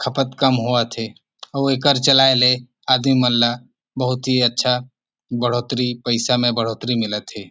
खपत कम होवत थे अऊ एकर चलाय ले आदमी मन ला बहुत ही अच्छा बढ़ोतरी पैसा में बढ़ोतरी मिलत थे।